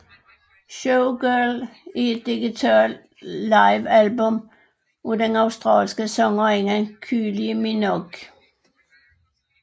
Showgirl er et digital livealbum af den australske sangerinde Kylie Minogue